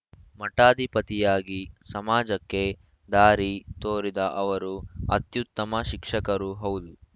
ಮಠಾಧಿಪತಿಯಾಗಿ ಸಮಾಜಕ್ಕೆ ದಾರಿ ತೋರಿದ ಅವರು ಅತ್ಯುತ್ತಮ ಶಿಕ್ಷಕರೂ ಹೌದು